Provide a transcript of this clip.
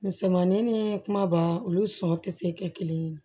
Misɛnmanin ni kumaba olu sɔn tɛ se kɛ kelen ye